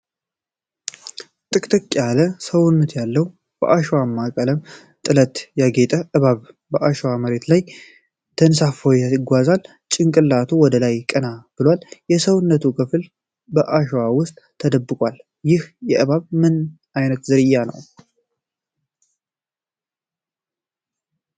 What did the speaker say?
ጥቅጥቅ ያለ ሰውነት ያለው፣ በአሸዋማ ቀለምና ጥለት ያጌጠ እባብ በአሸዋማ መሬት ላይ ተንሳፍፎ ይጓዛል። ጭንቅላቱ ወደ ላይ ቀና ብሏል፡፡ የሰውነቱ ክፍል በአሸዋ ውስጥ ተደብቋል። ይህ እባብ ምን ዓይነት ዝርያ ነው?